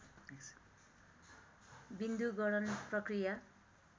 विन्दु गणन प्रक्रिया